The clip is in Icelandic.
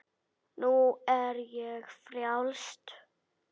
Nú er ég frjáls!